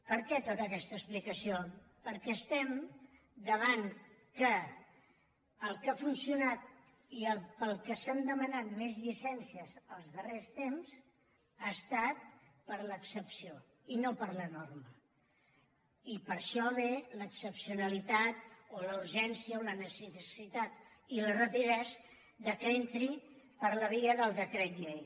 per què tota aquesta explicació perquè estem davant que el que ha funcionat i per al que s’han demanat més llicències els darrers temps ha estat per l’excepció i no per la norma i per això ve l’excepcionalitat o la urgència o la necessitat i la rapidesa que entri per la via del decret llei